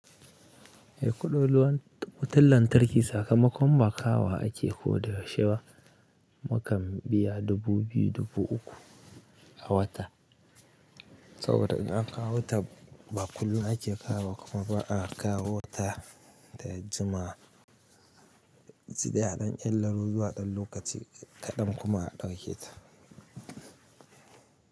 Eh, kuɗin ruwan wutan lantarki sakamakon ba kawowa ake ko da yaushe ba. Mukan biya dubu biyu, dubu uku a wata. Saboda in aka kawo ta ba kullum ake kawowa kuma ba a kawo ta ta Juma. Saida a ɗan ƙillaro zuwa ɗan lokaci kaɗan kuma a ɗauke ta.